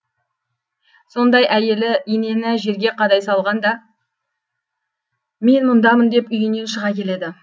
сонда әйелі инені жерге қадай салғанда мен мұндамын деп үйінен шыға келеді